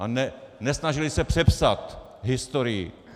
A nesnažili se přepsat historii.